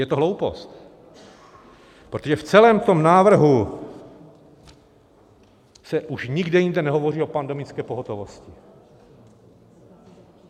Je to hloupost, protože v celém tom návrhu se už nikde jinde nehovoří o pandemické pohotovosti.